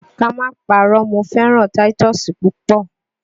Ká má parọ́ mo fẹ́ràn táítọ́ọ́sì púpọ̀.